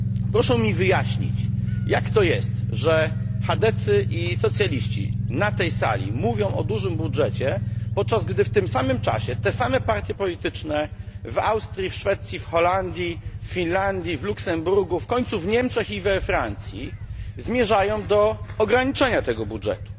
Proszę mi wyjaśnić, jak to jest, że chadecy i socjaliści na tej sali mówią o dużym budżecie, podczas gdy w tym samym czasie te same partie polityczne w Austrii, Szwecji, Holandii, Finlandii, Luksemburgu, w końcu w Niemczech i we Francji zmierzają do ograniczenia tego budżetu.